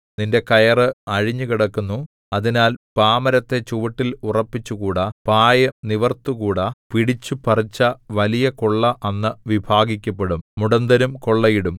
നിന്റെ കയറ് അഴിഞ്ഞുകിടക്കുന്നു അതിനാൽ പാമരത്തെ ചുവട്ടിൽ ഉറപ്പിച്ചുകൂടാ പായ് നിവിർത്തുകൂടാ പിടിച്ചുപറിച്ച വലിയ കൊള്ള അന്ന് വിഭാഗിക്കപ്പെടും മുടന്തരും കൊള്ളയിടും